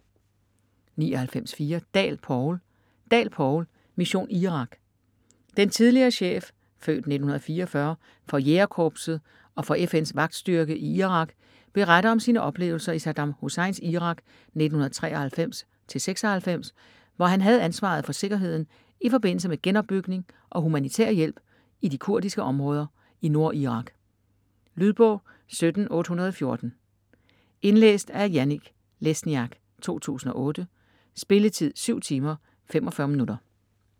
99.4 Dahl, Poul Dahl, Poul: Mission Irak Den tidligere chef (f. 1944) for Jægerkorpset og for FN's vagtstyrke i Irak beretter om sine oplevelser i Saddam Husseins Irak 1993-1996, hvor han havde ansvaret for sikkerheden i forbindelse med genopbygning og humanitær hjælp i de kurdiske områder i Nordirak. Lydbog 17814 Indlæst af Janek Lesniak, 2008. Spilletid: 7 timer, 45 minutter.